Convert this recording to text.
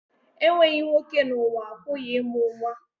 Enweghị nwoke n'ụwa, a pụghị ịmụ nwa